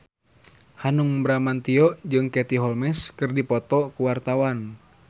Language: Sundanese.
Hanung Bramantyo jeung Katie Holmes keur dipoto ku wartawan